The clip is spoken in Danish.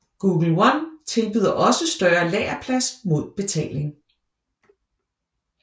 Google One tilbyder også større lagerplads mod betaling